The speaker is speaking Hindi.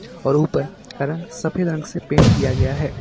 और ऊपर का रंग सफेद रंग से पेंट किया गया है।